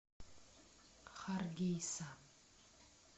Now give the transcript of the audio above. харгейса